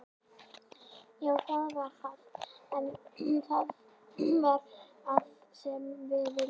Já það var það, en það var það sem við vildum.